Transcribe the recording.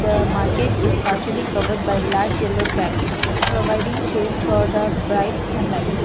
the market is partially covered by large yellow trap providing shade for the bright sunlight.